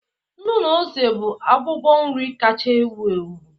Nnu na ose bụ abụbọ nri kacha ewu ewu.